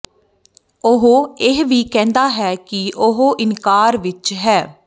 ਉਹ ਇਹ ਵੀ ਕਹਿੰਦਾ ਹੈ ਕਿ ਉਹ ਇਨਕਾਰ ਵਿੱਚ ਹੈ